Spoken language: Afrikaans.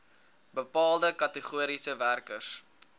bepaalde kategorieë werkers